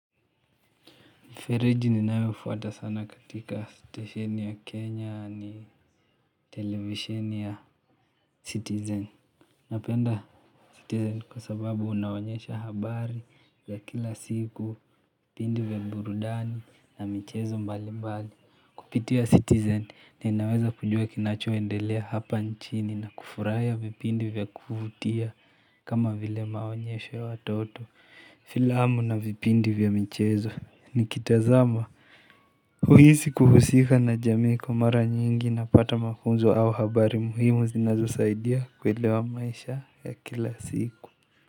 Mifereji ninayofuata sana katika stesheni ya Kenya ni televisheni ya Citizen. Napenda tele kwa sababu inaonyesha habari za kila siku vipindi vya burudani na michezo mbali mbali. Kupitia Citizen ninaweza kujua kinachuo endelea hapa nchini na kufurahia vipindi vya kuvutia kama vile maonyesho ya watoto. Filamu na vipindi vya michezo. Nikitazama huisi kuhusika na jamii kwa mara nyingi napata mafunzo au habari muhimu zinazo saidia kuelewa maisha ya kila siku.